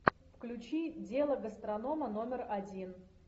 включи дело гастронома номер один